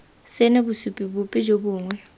sena bosupi bope jo bongwe